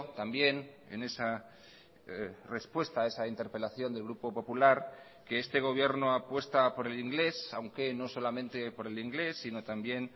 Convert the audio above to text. también en esa respuesta a esa interpelación del grupo popular que este gobierno apuesta por el inglés aunque no solamente por el inglés sino también